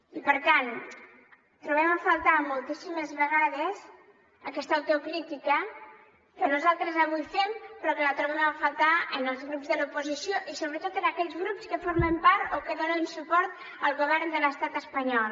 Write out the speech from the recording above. i per tant trobem a faltar moltíssimes vegades aquesta autocrítica que nosaltres avui fem però que la trobem a faltar en els grups de l’oposició i sobretot en aquells grups que formen part o que donen suport al govern de l’estat espanyol